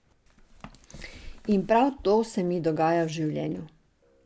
In prav to se mi dogaja v življenju.